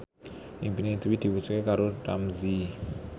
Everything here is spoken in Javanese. impine Dwi diwujudke karo Ramzy